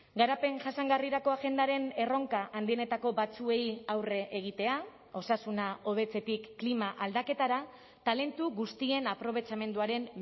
garapen jasangarrirako agendaren erronka handienetako batzuei aurre egitea osasuna hobetzetik klima aldaketara talentu guztien aprobetxamenduaren